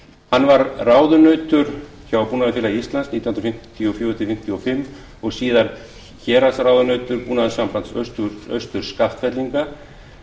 hann var ráðunautur hjá búnaðarfélagi íslands nítján hundruð fimmtíu og fjögur til nítján hundruð fimmtíu og fimm og síðar héraðsráðunautur búnaðarsambands austur skaftfellinga